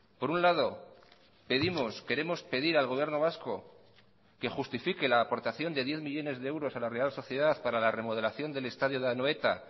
por un lado pedimos queremos pedir al gobierno vasco que justifique la aportación de diez millónes de euros a la real sociedad para la remodelación del estadio de anoeta